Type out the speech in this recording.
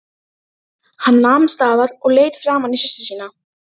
Hann nam staðar og leit framan í systur sína.